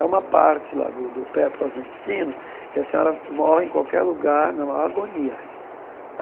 É uma parte lá do do, pe próximo ao intestino, e a senhora morre em qualquer lugar, na maior agonia.